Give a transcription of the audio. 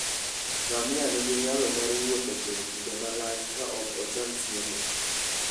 Ngamia nigi nyalo mar wuotho kuom kinde malach ka ok ocham chiemo.